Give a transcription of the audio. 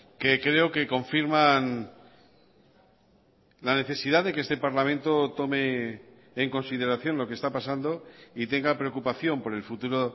que creo que confirman la necesidad de que este parlamento tome en consideración lo que está pasando y tenga preocupación por el futuro